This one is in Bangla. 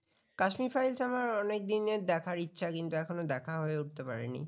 Kashmir files টা আমার অনেক দিনের দেখার ইচ্ছে কিন্তু এখনো দেখা হয়ে উঠতে পারেনি